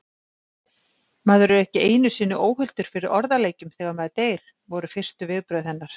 Maður er ekki einu sinni óhultur fyrir orðaleikjum þegar maður deyr, voru fyrstu viðbrögð hennar.